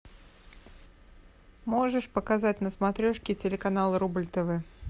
можешь показать на смотрешке телеканал рубль тв